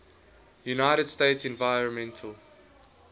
united states environmental